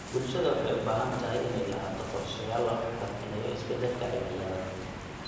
Bulshada waxay u baahan tahay inay lahaato qorshayaal lagu xakameynayo isbedelka cimilada.